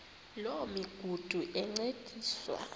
loo migudu encediswa